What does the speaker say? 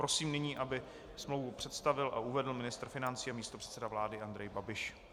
Prosím nyní, aby smlouvu představil a uvedl ministr financí a místopředseda vlády Andrej Babiš.